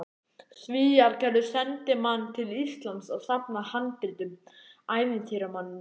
Svíar gerðu sendimann til Íslands að safna handritum, ævintýramanninn